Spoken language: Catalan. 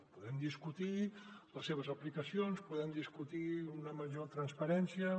podem discutir les seves aplicacions podem discutir una major transparència en